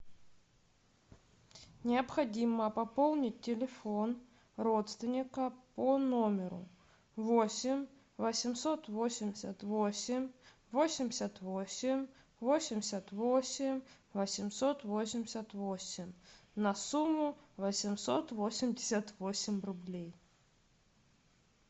необходимо пополнить телефон родственника по номеру восемь восемьсот восемьдесят восемь восемьдесят восемь восемьдесят восемь восемьсот восемьдесят восемь на сумму восемьсот восемьдесят восемь рублей